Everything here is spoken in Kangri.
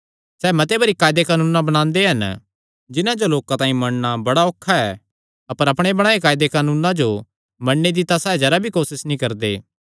सैह़ मते भरी कायदे कानून बणांदे हन जिन्हां जो लोकां तांई मन्नणा बड़ा औखा ऐ अपर अपणे बणाएयो कायदे कानूना जो तां मन्नणे दी तां सैह़ जरा भी कोसस नीं करदे